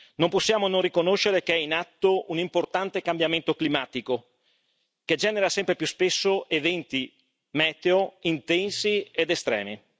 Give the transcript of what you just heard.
Non possiamo non riconoscere che è in atto un importante cambiamento climatico che genera sempre più spesso eventi meteo intensi ed estremi.